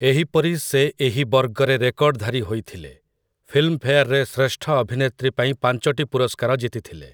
ଏହିପରି ସେ ଏହି ବର୍ଗରେ ରେକର୍ଡଧାରୀ ହୋଇଥିଲେ, ଫିଲ୍ମଫେୟାରରେ ଶ୍ରେଷ୍ଠ ଅଭିନେତ୍ରୀ ପାଇଁ ପାଞ୍ଚଟି ପୁରସ୍କାର ଜିତିଥିଲେ ।